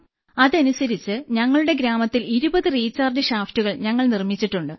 അതനുസരിച്ച് ഞങ്ങളുടെ ഗ്രാമത്തിൽ 20 റീചാർജ് ഷാഫ്റ്റുകൾ ഞങ്ങൾ നിർമ്മിച്ചിട്ടുണ്ട്